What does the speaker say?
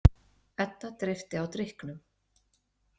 Edda dreypti á drykknum.